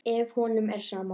Ef honum er sama.